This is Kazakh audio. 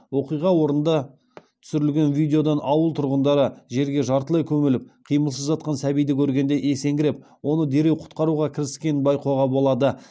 оқиға орнында түсірілген видеодан ауыл тұрғындары жерге жартылай көміліп қимылсыз жатқан сәбиді көргенде есеңгіреп оны дереу құтқаруға кіріскенін байқауға болды